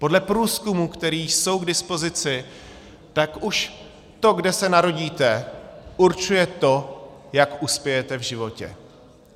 Podle průzkumů, které jsou k dispozici, tak už to, kde se narodíte, určuje to, jak uspějete v životě.